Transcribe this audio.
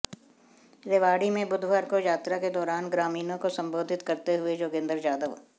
रेवाड़ी में बुधवार को यात्रा के दौरान ग्रामीणों को संबोधित करते हुए योगेंद्र यादव